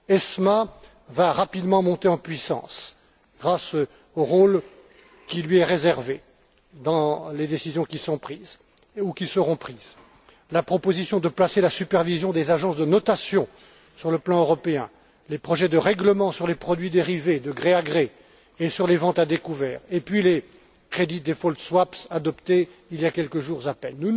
ESMA va rapidement monter en puissance grâce au rôle qui lui est réservé dans les décisions qui sont prises, ou qui seront prises la proposition de placer la supervision des agences de notation sur le plan européen, les projets de règlement sur les produits dérivés de gré à gré et sur les ventes à découvert, et puis les Credit Default Swaps adoptés il y a quelques jours à peine.